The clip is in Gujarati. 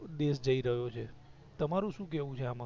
દેશ જય રહ્યો છે તમારું શુ કેવું છે એમાં